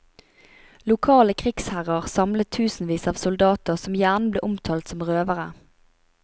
Lokale krigsherrer samlet tusenvis av soldater, som gjerne ble omtalt som røvere.